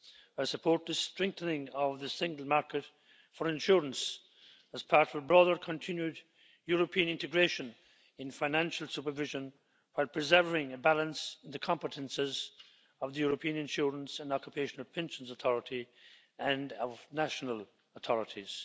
I support the strengthening of the single market for insurance as part of a broader, continued European integration in financial supervision while preserving a balance in the competences of the European Insurance and Occupational Pensions Authority and of national authorities.